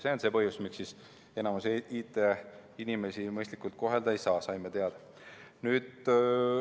See on see põhjus, miks enamikku IT-inimesi mõistlikult kohelda ei saa, saime teada.